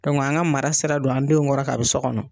an ka mara sira don an denw kɔrɔ kabi so kɔnɔ.